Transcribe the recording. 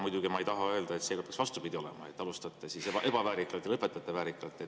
Muidugi ei taha ma öelda, et see peaks vastupidi olema, et alustate ebaväärikalt ja lõpetate väärikalt.